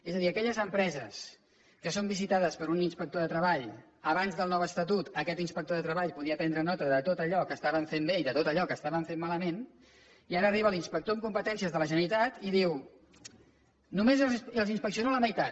és a dir en aquelles empreses que són visitades per un inspector de treball abans del nou estatut aquest inspector podia prendre nota de tot allò que estaven fent bé i de tot allò que estaven fent malament i ara arriba l’inspector amb competències de la generalitat i diu només els n’inspecciono la meitat